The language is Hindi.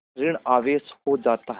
ॠण आवेश हो जाता है